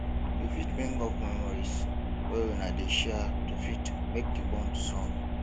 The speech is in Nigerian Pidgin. you fit bring up memories wey una dey share to fit make di bond strong